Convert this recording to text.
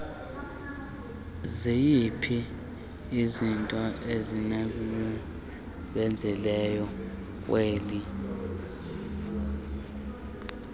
zinokuyidlala ekubuyiseni kolutsha